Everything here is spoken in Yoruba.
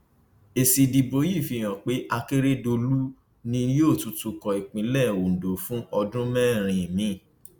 èsì ìdìbò yìí fi hàn pé akérèdọlù ni yóò tún tukọ ìpínlẹ ondo fún ọdún mẹrin míín